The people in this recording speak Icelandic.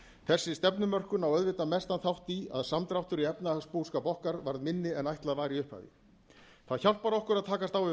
þessi stefnumörkun á auðvitað mestan þátt í að samdráttur í efnahagsbúskap okkar var minni en ætlað var í upphafi það hjálpar okkur að takast á við